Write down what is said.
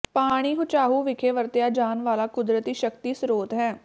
ਪਾਣੀ ਹੂਚਾਹੂ ਵਿਖੇ ਵਰਤਿਆ ਜਾਣ ਵਾਲਾ ਕੁਦਰਤੀ ਸ਼ਕਤੀ ਸਰੋਤ ਹੈ